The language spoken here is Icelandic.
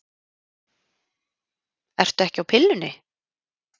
Ertu ekki á pillunni?